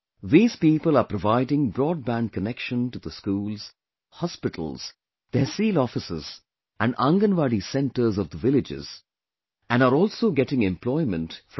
These people are providing broadband connection to the schools, hospitals, tehsil offices and Anganwadi centers of the villages and are also getting employment from it